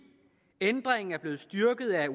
ændringen er blevet styrket af